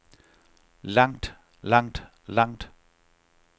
langt langt langt